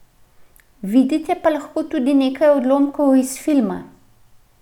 Vidite pa lahko tudi nekaj odlomkov iz filma.